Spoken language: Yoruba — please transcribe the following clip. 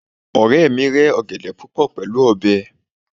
ọrẹ mi rẹ ọgẹdẹ púpò pẹlú ọbẹ